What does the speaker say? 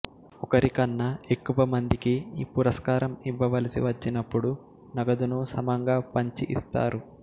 ఒకరికన్నా ఎక్కువ మందికి ఈ పురస్కారం ఇవ్వవలసి వచ్చినపుడు నగదును సమంగా పంచి ఇస్తారు